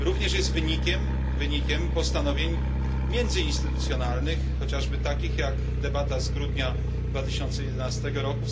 Jest ona również wynikiem postanowień międzyinstytucjonalnych, chociażby takich jak debata z grudnia 2011 r.